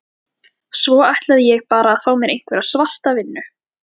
Svo ætlaði ég bara að fá mér einhverja svarta vinnu.